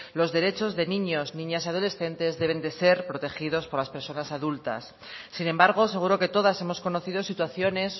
los derechos de niños niñas y adolescentes deben de ser protegidos por las personas adultas sin embargo seguro que todas hemos conocido situaciones